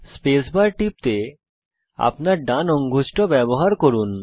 space bar টিপতে আপনার ডান অঙ্গুষ্ঠ ব্যবহার করুন